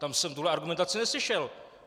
Tam jsem tuhle argumentaci neslyšel.